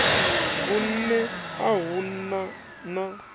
vhunṋe a hu na na